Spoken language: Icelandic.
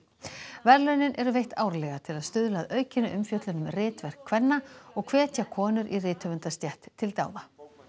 verðlaunin eru veitt árlega til að stuðla að aukinni umfjöllun um ritverk kvenna og hvetja konur í til dáða